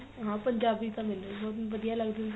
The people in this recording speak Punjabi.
ਹਾਂ ਪੰਜਾਬੀ ਤਾਂ ਮੈਨੂੰ ਵੀ ਬਹੁਤ ਵਧੀਆ ਲੱਗਦਾ ਸੀ